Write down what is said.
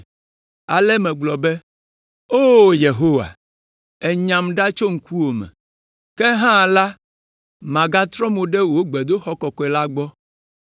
Ale megblɔ be, ‘O Yehowa, ènyam ɖa le wò ŋkume. Ke hã la, magatrɔ mo ɖe wò gbedoxɔ kɔkɔe la gbɔ.’